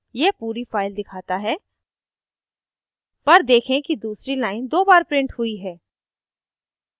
यह पूरी file दिखाता है पर देखें कि दूसरी line दो बार printed हुई है